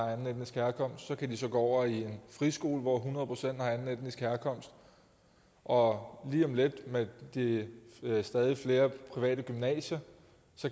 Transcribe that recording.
har anden etnisk herkomst og så kan de så gå over i en friskole hvor hundrede procent har anden etnisk herkomst og lige om lidt med de stadig flere private gymnasier